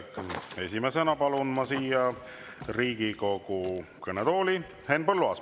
Esimesena palun ma siia Riigikogu kõnetooli Henn Põlluaasa.